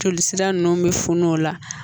Joli sira nunnu be funu o la